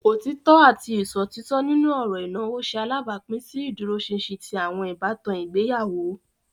Otitọ ati iṣotitọ nínú ọrọ ìnáwó ṣe alabapin si ìdúróṣinṣin ti awọn ìbátan ìgbéyàwó.